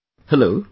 Hello...